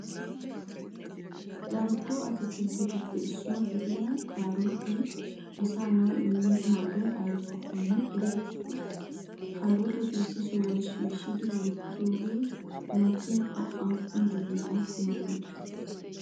darkko atakkiltettuppe issuwa giddiya kaarotte asaa naa'awu immiyo maadoy aybakkonne ereeti? kaarotte issi sohuwa shishshidi wotidogee maakiyaakko appun jooniyaa kumanawu de'i?